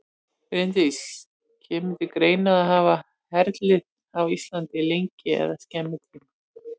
Bryndís: Kemur til greina að hafa herlið á Íslandi í lengri eða skemmri tíma?